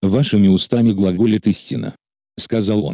вашими устами глаголет истина сказал он